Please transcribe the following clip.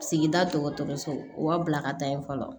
Sigida dɔgɔtɔrɔso u b'a bila ka taa yen fɔlɔ